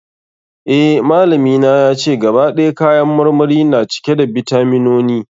Eh, malami na yace, gaba ɗaya kayan marmari na cike da bitaminoni.